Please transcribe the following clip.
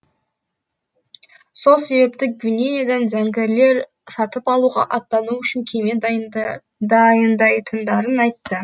сол себепті гвинеядан зәңгілер сатып алуға аттану үшін кеме дайындайтындарын айтты